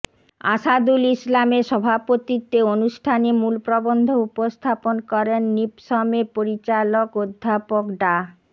আসাদুল ইসলামের সভাপতিত্বে অনুষ্ঠানে মূল প্রবন্ধ উপস্থাপন করেন নিপসমের পরিচালক অধ্যাপক ডা